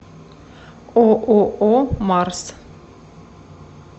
ооо марс